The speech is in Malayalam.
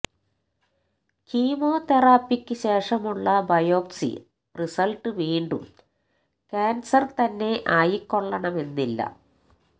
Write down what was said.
കീമോതെറാപ്പിക്ക് ശേഷമുള്ള ഉള്ള ബയോപ്സി റിസള്ട്ട് വീണ്ടും കാന്സര് തന്നെ ആയിക്കൊള്ളണമെന്നില്ല